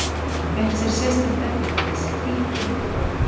Hann fékk sér sérstakt efni til þess, hvítt duft í poka.